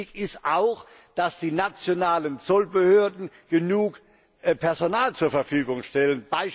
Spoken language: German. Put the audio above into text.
treten. Wichtig ist auch, dass die nationalen Zollbehörden genug Personal zur Verfügung stellen.